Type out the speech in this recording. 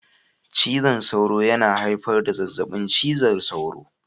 Cizon sauro yana haifar da zazzabin cizon sauro